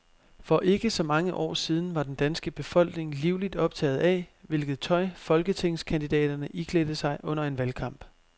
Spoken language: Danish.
For ikke så mange år siden var den danske befolkning livligt optaget af, hvilket tøj folketingskandidaterne iklædte sig under en valgkamp.